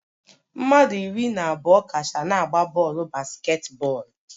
Mmadụ iri na abụọ kacha na-agba bọọlụ basketball